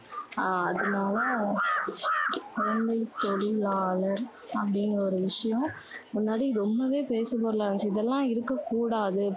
ஆஹ் அதுனால, குழந்தைத் தொழிலாளர் அப்படிங்கற ஒரு விஷயம் முன்னாடி ரொம்பவே பேசு பொருளா இருந்துச்சு. இதெல்லாம் இருக்க கூடாது.